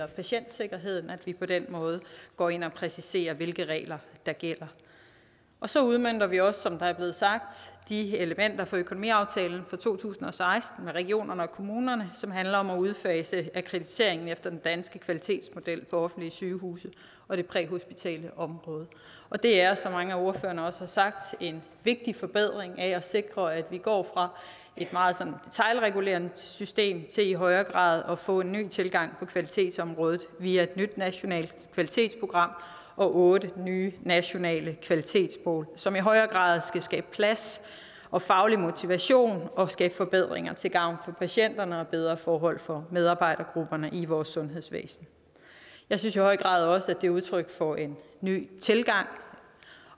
patientsikkerheden at vi på den måde går ind og præciserer hvilke regler der gælder så udmønter vi også som det er blevet sagt de elementer fra økonomiaftalen fra to tusind og seksten med regionerne og kommunerne som handler om at udfase akkrediteringen efter den danske kvalitetsmodel for offentlige sygehuse og det præhospitale område det er som mange af ordførerne også har sagt en vigtig forbedring i at sikre at vi går fra et meget detailregulerende system til i højere grad at få en ny tilgang på kvalitetsområdet via et nyt nationalt kvalitetsprogram og otte nye nationale kvalitetsmål som i højere grad skal skabe plads og faglig motivation og skabe forbedringer til gavn for patienterne og bedre forhold for medarbejdergrupperne i vores sundhedsvæsen jeg synes i høj grad også at det er udtryk for en ny tilgang